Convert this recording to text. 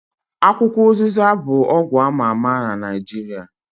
Akwukwo ụzịza bụ ọgwụ ama ama na Naijiria